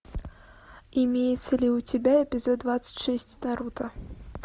имеется ли у тебя эпизод двадцать шесть наруто